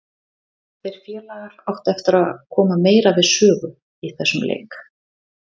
Þeir félagar áttu eftir að koma meira við sögu í þessum leik.